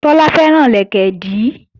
Tọ́lá fẹ́ràn lẹ̀kẹ̀dí